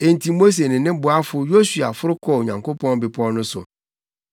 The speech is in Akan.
Enti Mose ne ne boafo Yosua foro kɔɔ Onyankopɔn bepɔw no so.